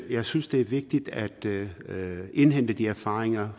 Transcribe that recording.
jeg synes det er vigtigt at indhente de erfaringer